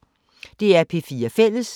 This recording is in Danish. DR P4 Fælles